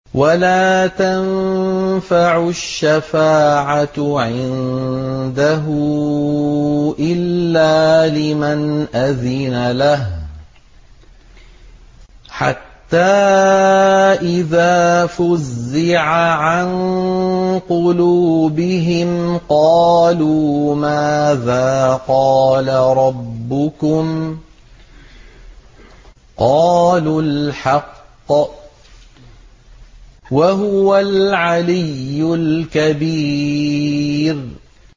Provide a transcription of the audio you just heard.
وَلَا تَنفَعُ الشَّفَاعَةُ عِندَهُ إِلَّا لِمَنْ أَذِنَ لَهُ ۚ حَتَّىٰ إِذَا فُزِّعَ عَن قُلُوبِهِمْ قَالُوا مَاذَا قَالَ رَبُّكُمْ ۖ قَالُوا الْحَقَّ ۖ وَهُوَ الْعَلِيُّ الْكَبِيرُ